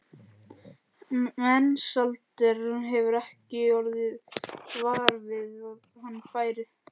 Mensalder hefur ekki orðið var við að hann færi.